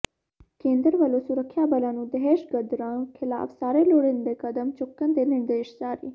ਕੇਂਦਰ ਵੱਲੋਂ ਸੁਰੱਖਿਆ ਬਲਾਂ ਨੂੰ ਦਹਿਸ਼ਤਗਰਦਾਂ ਖ਼ਿਲਾਫ਼ ਸਾਰੇ ਲੋੜੀਂਦੇ ਕਦਮ ਚੁੱਕਣ ਦੇ ਨਿਰਦੇਸ਼ ਜਾਰੀ